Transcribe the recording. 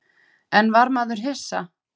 En var maður hissa?